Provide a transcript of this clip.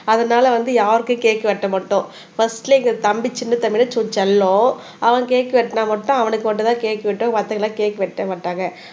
அதனால வந்து யாருக்கும் கேக் வெட்ட மாட்டோம் ஃபர்ஸ்ட்ல எங்க தம்பி சின்ன தம்பிதா செல்லம் அவன் கேக் வெட்டினா மட்டும் அவனுக்கு மட்டும்தான் கேக் வெட்டு மத்தவங்க எல்லாம் கேக் வெட்ட மாட்டாங்க